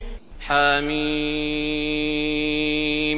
حم